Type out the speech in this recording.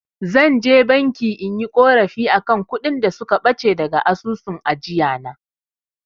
Zan je banki inyi ƙorafi akan kuɗin da suka ɓace daga asusun ajiyana.